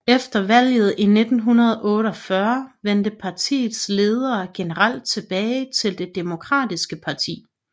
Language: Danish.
Efter valget i 1948 vendte partiets ledere generelt tilbage til det Demokratiske Parti